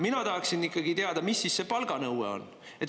Mina tahaksin ikkagi teada, mis siis see palganõue on.